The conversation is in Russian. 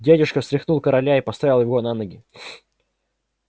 дядюшка встряхнул короля и поставил его на ноги